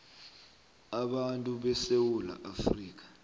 abantu besewula afrika